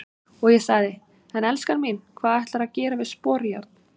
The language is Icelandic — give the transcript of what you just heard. Og ég sagði:- En elskan mín, hvað ætlarðu að gera við sporjárn?